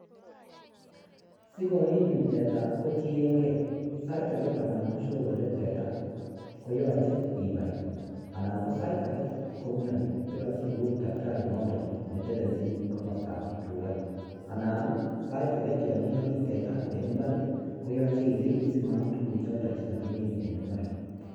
Sikomiin teta kotieng'e sait akee ko anan ko siorore teta koyoche inai anan ko sait akee komioni koyoche ikur takitari noton netelelchin komostab tukaa anan sait akee yoon iyoki teta eng' ibar koyoche irib simaam tukuchoton chekakimin en imbar.